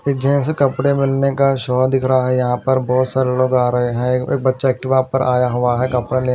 एक जेंट्स कपड़े मिलने का शो दिख रहा है यहां पर बहोत सारे लोग आ रहे हैं एक बच्चा एक्टिवा पर आया हुआ है कपड़ा लेने।